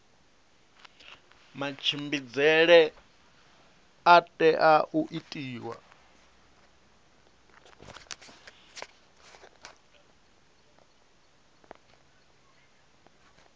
matshimbidzele a tea u itiwa